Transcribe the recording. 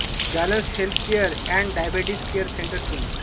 Jalans health care and diabetes care centre Pune